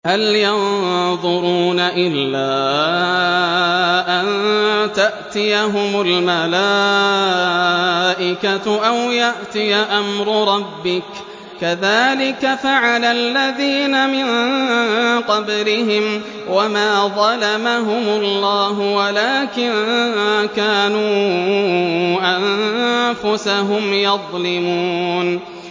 هَلْ يَنظُرُونَ إِلَّا أَن تَأْتِيَهُمُ الْمَلَائِكَةُ أَوْ يَأْتِيَ أَمْرُ رَبِّكَ ۚ كَذَٰلِكَ فَعَلَ الَّذِينَ مِن قَبْلِهِمْ ۚ وَمَا ظَلَمَهُمُ اللَّهُ وَلَٰكِن كَانُوا أَنفُسَهُمْ يَظْلِمُونَ